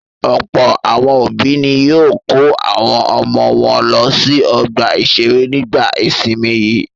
Ọ̀pọ̀ àwọn òbí ni yóò kó àwọn ọmọ wọn lọ sí ọgbà-ìṣeré nígbà ìsìnmi yìí.